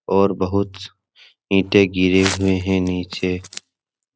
और बहुत ईटे गिरे हुए हैं नीचे --